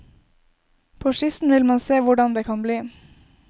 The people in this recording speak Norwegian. På skissen vil man se hvordan det kan bli.